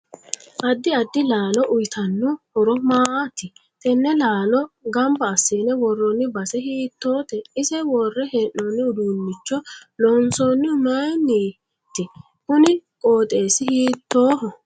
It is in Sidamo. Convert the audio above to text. Addi addi laalo uyiitanno horo maati tenne laalo ganbna asinne worrooni base hiitoote ise woore heenooni uduunicho loonsoonihu mayiiniiti kuni qooxeesi hiitooho